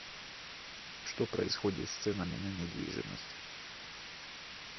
что происходит с ценами на недвижимость